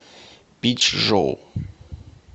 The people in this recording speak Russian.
пичжоу